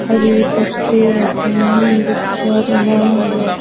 हरे पत्ते रखे हैं गुच्छा बना हुआ ।